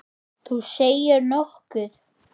Þú segir nokkuð.